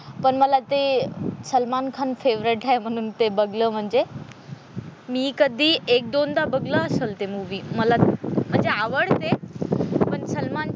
पण मला ते सलमान खान फेव्हरेट आहे म्हणून ते बघाल म्हणजे मी कधी एक दोनदा बघलं असेल ते मूवी मला म्हणजे आवडते पण सलमान,